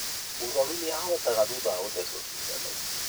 Mũrũaru nĩ ahona thutha wa gũthecwo cindano